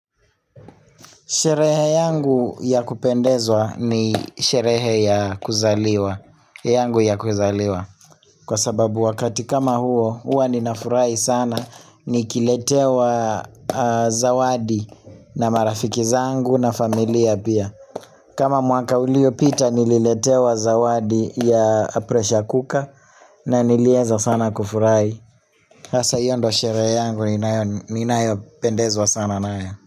Sherehe yangu ya kupendezwa ni sherehe ya kuzaliwa, yangu ya kuzaliwa. Kwa sababu wakati kama huo, huwa ninafurahi sana, nikiletewa zawadi na marafiki zangu na familia pia. Kama mwaka uliopita, nililetewa zawadi ya pressure cooker na nilieza sana kufurahi. Hasa hio ndo sherehe yangu, ninayopendezwa sana nayo.